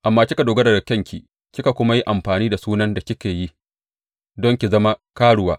Amma kika dogara ga kyanki kika kuma yi amfani da sunan da kika yi don ki zama karuwa.